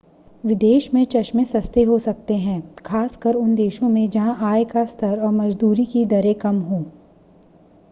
विदेश में चश्में सस्ते हो सकते हैं खास कर उन देशों में जहां आय का स्तर और मज़दूरी की दरें कम हों